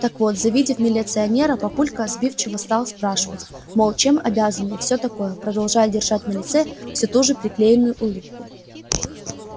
так вот завидев милиционера папулька сбивчиво стал спрашивать мол чем обязаны и все такое продолжая держать на лице все ту же приклеенную улыбку